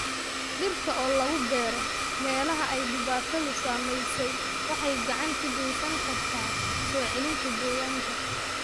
Dhirta oo lagu beero meelaha ay dhibaatadu saameysey waxay gacan ka geysan kartaa soo celinta deegaanka.